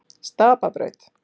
Stapabraut